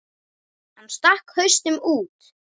Hann stakk hausnum út aftur.